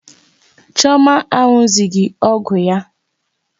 Chioma anụzughi ọgwụ ya.